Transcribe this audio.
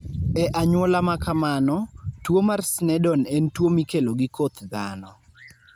E anyuola ma kamano, tuwo mar Sneddon en tuwo mikelo gi koth dhano.